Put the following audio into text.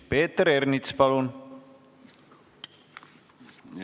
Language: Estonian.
Peeter Ernits, palun!